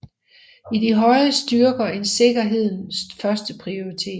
I de høje styrker en sikkerheden førsteprioritet